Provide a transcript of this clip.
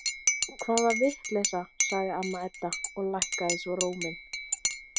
Hvaða vitleysa, sagði amma Edda og lækkaði svo róminn.